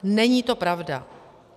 Není to pravda.